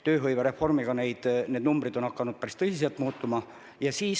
Tööhõivereformiga seoses on need numbrid hakanud päris tõsiselt muutuma.